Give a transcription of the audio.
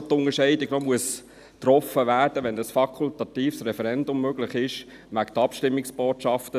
Dort muss doch, wenn ein fakultatives Referendum möglich ist, eine Unterscheidung gemacht werden.